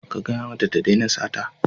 Ka gaya mata ta daina sata.